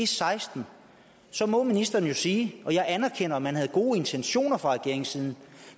seksten så må ministeren jo sige og jeg anerkender at man havde gode intentioner fra regeringens side